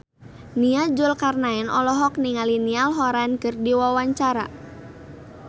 Nia Zulkarnaen olohok ningali Niall Horran keur diwawancara